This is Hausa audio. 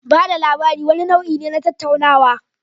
Ba da labari wani nau'i ne na tattaunawa.